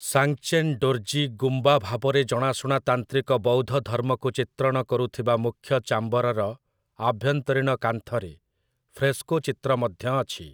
ସାଙ୍ଗ୍‌ଚେନ୍ ଡୋର୍ଜୀ ଗୁମ୍ବା ଭାବରେ ଜଣାଶୁଣା ତାନ୍ତ୍ରିକ ବୌଦ୍ଧ ଧର୍ମକୁ ଚିତ୍ରଣ କରୁଥିବା ମୁଖ୍ୟ ଚାମ୍ବରର ଆଭ୍ୟନ୍ତରୀଣ କାନ୍ଥରେ ଫ୍ରେସ୍କୋ ଚିତ୍ର ମଧ୍ୟ ଅଛି ।